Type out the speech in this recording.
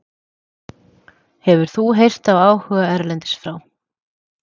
Hefur þú heyrt af áhuga erlendis frá?